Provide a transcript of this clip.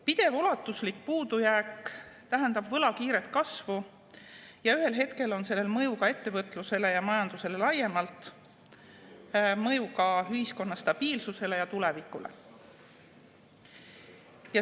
Pidev ulatuslik puudujääk tähendab võla kiiret kasvu ja ühel hetkel on sellel mõju ka ettevõtlusele ja majandusele laiemalt, mõju ka ühiskonna stabiilsusele ja tulevikule.